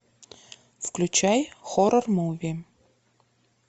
включай хоррор муви